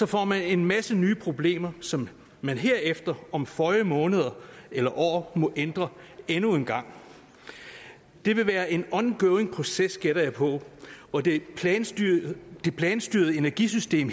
får man en masse nye problemer som man herefter om føje måneder eller år må ændre endnu en gang det vil være en ongoing proces gætter jeg på og det planstyrede det planstyrede energisystem